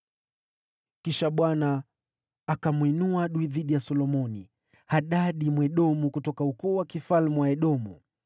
Kisha Bwana akamwinua adui dhidi ya Solomoni, Hadadi, Mwedomu, kutoka ukoo wa ufalme wa Edomu.